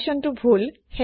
কন্দিচ্যনটো ভূল